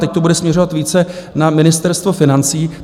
Teď to bude směřovat více na Ministerstvo financí.